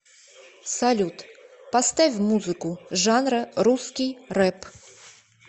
салют поставь музыку жанра русский рэп